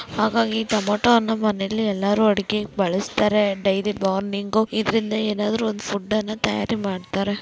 ಹಾಗಾಗಿ ಟೊಮೆಟೊ ಹಣ್ಣು ಮನೇಲಿ ಎಲ್ಲಾರು ಅಡ್ಗೆ ಬಲಿಸ್ತಾರೆ ಡೈಲಿ ಮಾರ್ನಿಂಗ್ ಇದ್ರಿಂದ ಏನಾದ್ರೂ ಒಂದ್ ಫುಡ್ ಅನ್ನಾ ತಯ್ಯಾರಿ ಮಾಡ್ತಾರೆ.